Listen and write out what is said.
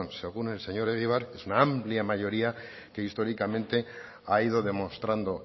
según el señor egibar es una amplia mayoría que históricamente ha ido demostrando